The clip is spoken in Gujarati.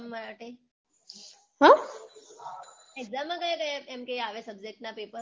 exam માં કયા કયા આવે એમ કે subject ના paper